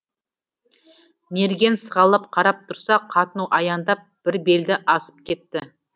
мерген сығалап қарап тұрса қатын аяңдап бір белді асып кетті